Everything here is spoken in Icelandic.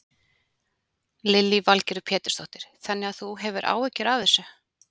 Lillý Valgerður Pétursdóttir: Þannig að þú hefur áhyggjur af þessu?